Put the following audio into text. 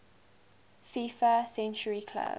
fifa century club